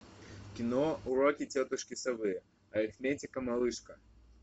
кино уроки тетушки совы арифметика малышка